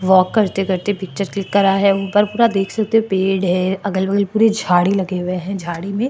वाक करते करते picture click करा है ऊपर पूरा देख सकते हो पेड़ है अगल बगल पूरे झाड़ी लगे हुए है झाड़ी में --